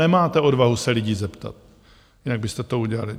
Nemáte odvahu se lidí zeptat, jinak byste to udělali.